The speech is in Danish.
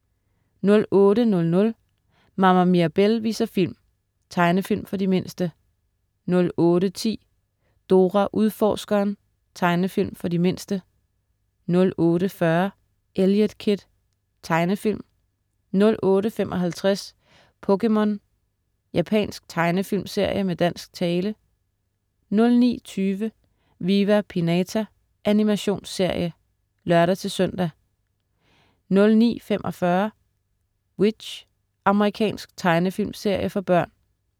08.00 Mama Mirabelle viser film. Tegnefilm for de mindste 08.10 Dora Udforskeren. Tegnefilm for de mindste 08.40 Eliot Kid. Tegnefilm 08.55 POKéMON. Japansk tegnefilmserie med dansk tale 09.20 Viva Pinata. Animationsserie (lør-søn) 09.45 W.i.t.c.h. Amerikansk tegnefilmserie for børn